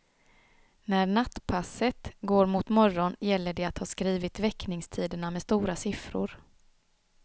När nattpasset går mot morgon gäller det att ha skrivit väckningstiderna med stora siffror.